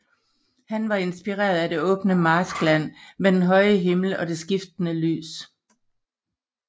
Han var inspireret af det åbne marskland med den høje himmel og det skiftende lys